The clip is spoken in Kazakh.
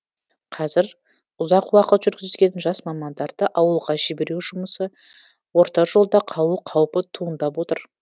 қазір ұзақ уақыт жүргізген жас мамандарды ауылға жіберу жұмысы орта жолда қалу қаупі туындап отыр